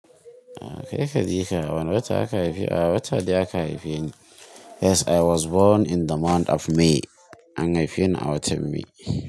Kai ka jika a wani wata aka haife a wata dai aka haife ni. Yes, I was born in the month of May. An haife ni a watan May.